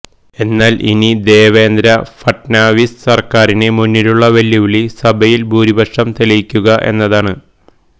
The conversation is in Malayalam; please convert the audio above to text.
എന്നാൽ ഇനി ദേവേന്ദ്ര ഫട്നാവിസ് സർക്കാരിന് മുന്നിലുള്ള വെല്ലുവിളി സഭയിൽ ഭൂരിപക്ഷം തെളിയിക്കുക എന്നതാണ്